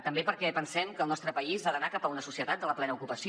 també perquè pensem que el nostre país ha d’anar cap a una societat de la plena ocupació